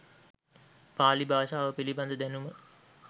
පාලි භාෂාව පිළිබඳ දැනුම